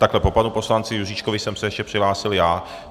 Ale po panu poslanci Juříčkovi jsem se ještě přihlásil já.